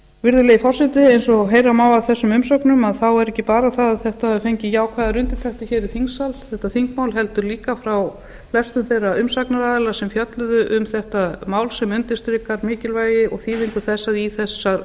virðulegi forseti eins og heyra má af þessum umsögnum þá er ekki bara það að þetta þingmál hafi fengið jákvæðar undirtektir hér í þingsal heldur frá flestum þeirra umsagnaraðila sem fjölluðu um þetta mál sem undirstrikar mikilvægi og þýðingu þess að í þessa